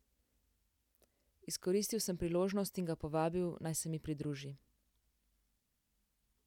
Izkoristil sem priložnost in ga povabil, naj se mi pridruži.